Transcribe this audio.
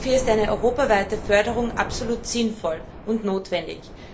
Dafür ist eine europaweite Förderung absolut sinnvoll und notwendig.